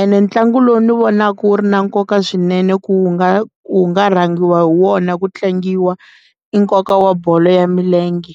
ene ntlangu lowu ni vonaka wu ri na nkoka swinene ku wu nga wu nga rhangiwa hi wona ku tlangiwa i nkoka wa bolo ya milenge.